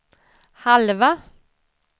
halva